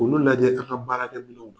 Olu lajɛ an ka baara kƐcogo.